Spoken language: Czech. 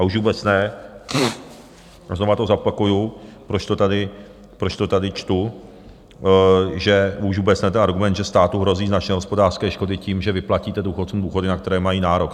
A už vůbec ne, znovu to zopakuji, proč to tady čtu, že už vůbec ne ten argument, že státu hrozí značné hospodářské škody tím, že vyplatíte důchodcům důchody, na které mají nárok.